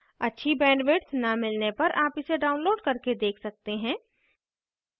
अच्छी bandwidth न मिलने पर आप इसे download करके देख सकते हैं